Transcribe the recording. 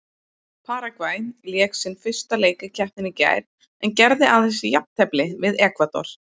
Paragvæ lék sinn fyrsta leik í keppninni í gær en gerði aðeins jafntefli við Ekvador.